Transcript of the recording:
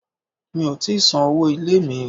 Mi ò tíì san owó ilé mi.